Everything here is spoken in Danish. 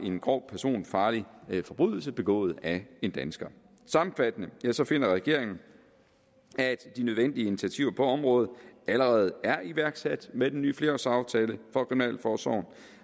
en grov personfarlig forbrydelse begået af en dansker sammenfattende finder regeringen at de nødvendige initiativer på området allerede er iværksat med den nye flerårsaftale for kriminalforsorgen